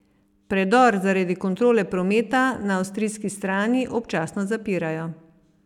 Predor zaradi kontrole prometa na avstrijski strani občasno zapirajo.